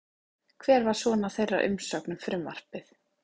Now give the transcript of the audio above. Hver var svona þeirra umsögn um frumvarpið?